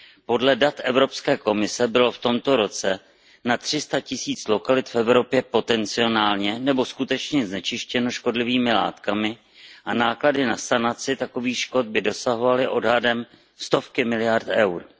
Podle dat Evropské komise bylo v tomto roce na tři sta tisíc lokalit v Evropě potencionálně nebo skutečně znečištěno škodlivými látkami a náklady na sanaci takových škod by dosahovaly odhadem stovky miliard EUR.